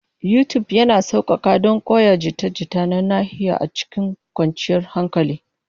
YouTube yana sauƙaƙa don koyon jita-jita na nahiya a cikin kwanciyar hankali.